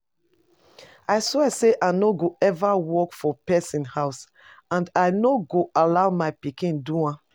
I swear say I no go ever work for person house and I no go allow my pikin do am